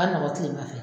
Ka nɔgɔn kilema fɛ